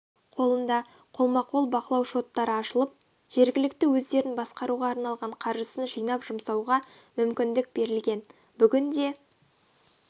қолында қолма-қол бақылау шоттары ашылып жергілікті өздерін басқаруға арналған қаржысын жинап жұмсауға мүмкіндік берілген бүгінде